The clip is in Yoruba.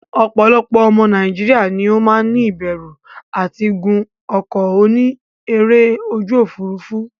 Opolopo omo Nigeria ni o maa ni iberu ati gun oko oni ere oju ofurufu.